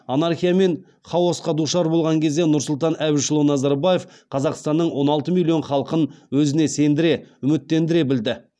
анархия мен хаосқа душар болған кезде нұрсұлтан әбішұлы назарбаев қазақстанның он алты миллион халқын өзіне сендіре үміттендіре білді